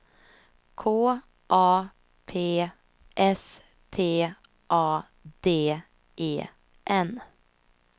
K A P S T A D E N